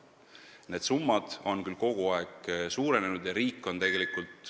Need summad on küll kogu aeg suurenenud.